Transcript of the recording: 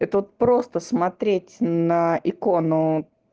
это вот просто смотреть на икону